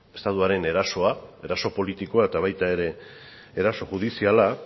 estatuaren erasoa eraso politikoa eta baita ere eraso judiziala